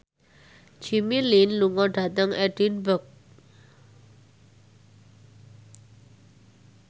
Jimmy Lin lunga dhateng Edinburgh